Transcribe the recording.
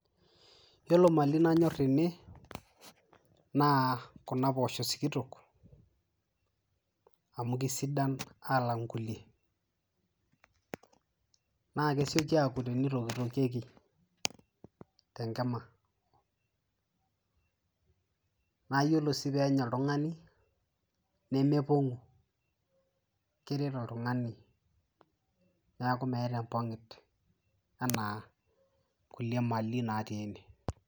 yiolo mali nanyorr tene naa kuna pooshok sikitok amu kisidan alang inkulie naa kesioki aku tenitokitokieki tenkima naa yiolo sii penya oltung'ani nemepong'u keret oltung'ani niaku meeta empong'it anaa kulie mali natii ene.